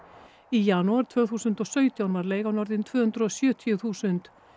í janúar tvö þúsund og sautján var leigan orðin tvö hundruð og sjötíu þúsund